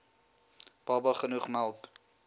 baba genoeg melk